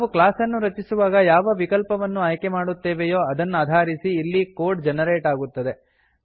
ನಾವು ಕ್ಲಾಸ್ ಅನ್ನು ರಚಿಸುವಾಗ ಯಾವ ವಿಕಲ್ಪವನ್ನು ಆಯ್ಕೆ ಮಾಡುತ್ತೇವೆಯೋ ಅದನ್ನಾಧಾರಿಸಿ ಇಲ್ಲಿ ಕೋಡ್ ಜನರೇಟ್ ಆಗುತ್ತದೆ